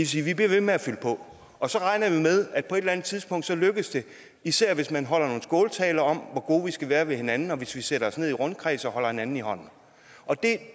sige at vi bliver ved med at fylde på og så regner vi med at på et eller andet tidspunkt lykkes det især hvis man holder nogle skåltaler om hvor gode vi skal være ved hinanden og hvis vi sætter os ned i rundkreds og holder hinanden i hånden og det